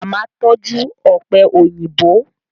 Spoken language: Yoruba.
Màmá tọ́jú ọ̀pẹ̀ òyìnbó